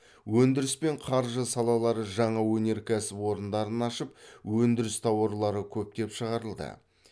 өндіріс пен қаржы салалары жаңа өнеркәсіп орындарын ашып өндіріс тауарлары көптеп шығарылды